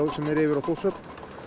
sem er yfir á Þórshöfn